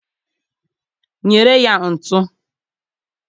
nyere ya ntu.